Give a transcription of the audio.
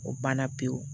O banna pewu